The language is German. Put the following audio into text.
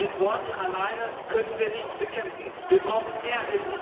Doch mit Worten alleine können wir nichts bekämpfen, wir brauchen mehr.